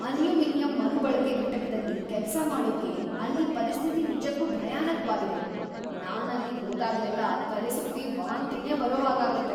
Aluminium ಮರುಬಳಕೆ ಘಟಕದಲ್ಲಿ ಕೆಲ್ಸ ಮಾಡೋಕೆ ಅಲ್ಲೀ ಪರಿಸ್ಥಿತಿ ನಿಜಕ್ಕೂ ಭಯಾನಕ್ವಾಗಿದೆ, ನಾನ್‌ ಅಲ್ಲಿಗ್‌ ಹೋದಾಗ್ಲೆಲ್ಲ ತಲೆಸುತ್ತಿ ವಾಂತಿನೇ ಬರೋ ಹಾಗಾಗತ್ತೆ.